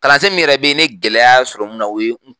Kalan sen mi yɛrɛ bɛ ye ne ye gɛlɛya sɔrɔ mun na o ye